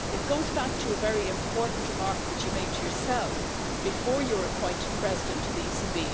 It goes back to a very important remark that you made yourself before you were appointed President of the ECB.